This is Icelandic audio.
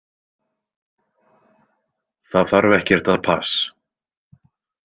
Það þarf ekkert að pass.